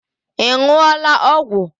Ị ṅụọla ọgwụ?